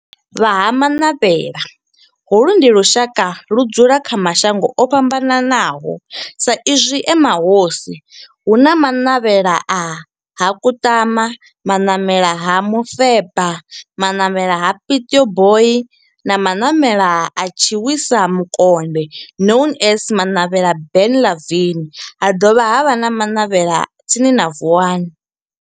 Vha Ha-Manavhela, holu ndi lushaka ludzula kha mashango ofhambanaho sa izwi e mahosi hu na Manavhela ha Kutama, Manamela ha Mufeba, Manavhela ha Pietboi na Manavhela ha Tshiwisa Mukonde known as Manavhela Benlavin ha dovha havha na Manavhela tsini na Vuwani.